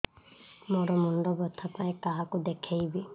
ମୋର ମୁଣ୍ଡ ବ୍ୟଥା ପାଇଁ କାହାକୁ ଦେଖେଇବି